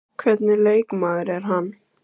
Hvernig leikmaður er hann?